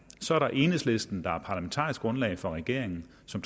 så er der enhedslisten der er parlamentarisk grundlag for regeringen som